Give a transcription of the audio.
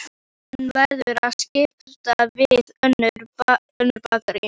Hann verður að skipta við önnur bakarí.